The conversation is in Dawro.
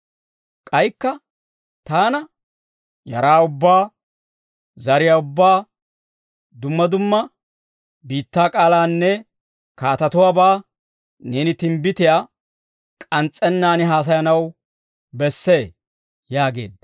K'aykka taana, «Yaraa ubbaa, zariyaa ubbaa, dumma dumma biittaa k'aalaanne kaatatuwaabaa neeni timbbitiyaa k'ans's'ennaan haasayanaw bessee» yaageedda.